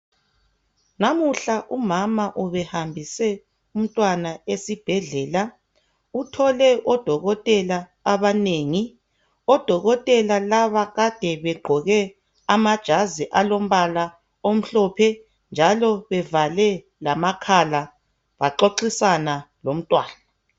Namuhla umama ubehambise umntwana esibhedlela uthole odokotela abanengi. Odokotela laba kade begqoke amajazi alombala omhlophe njalo evale lamakhala baxoxisana lomntwana.